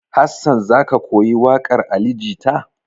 Hassan za ka koyi waƙar Ali Jita?